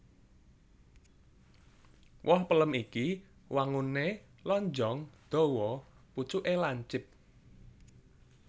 Woh pelem iki wanguné lonjong dawa pucuké lancip